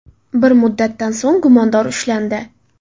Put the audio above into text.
Bir muddatdan so‘ng gumondor ushlandi.